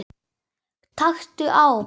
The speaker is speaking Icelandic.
Taktu á!